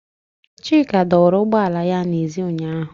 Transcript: Chika dọwara ụgbọ ala ya n'èzí ụnyahụ.